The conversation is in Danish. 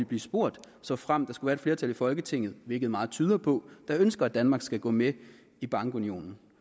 blive spurgt såfremt der skulle være et flertal i folketinget hvilket meget tyder på der ønsker at danmark skal gå med i bankunionen